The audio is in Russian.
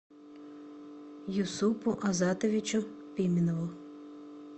юсупу азатовичу пименову